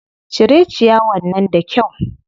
Cire ciyawar nan da kyau.